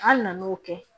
An nan'o kɛ